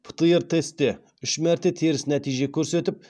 птр тестте үш мәрте теріс нәтиже көрсетіп